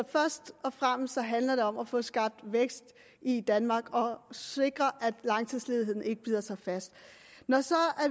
først og fremmest handler om at få skabt vækst i danmark og sikre at langtidsledigheden ikke bider sig fast når